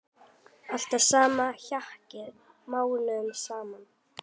Alltaf sama hjakkið mánuðum saman!